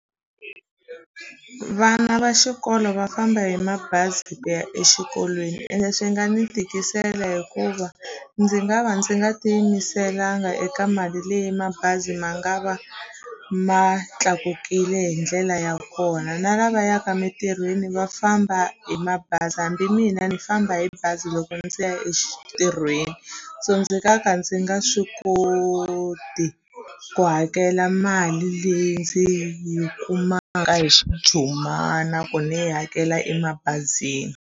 Vana va xikolo va famba hi mabazi ku ya exikolweni ende swi nga ni tikisela hikuva ndzi nga va ndzi nga tiyimiselanga eka mali leyi mabazi ma nga va ma tlakukile hi ndlela ya kona na lava yaka mitirhweni va famba hi mabazi hambi mina ni famba hi bazi loko ndzi ya emitirhweni so ndzi nga ka ndzi nga swi koti ku hakela mali leyi ndzi yi kumaka hi xijumana ku ni yi hakela emabazini.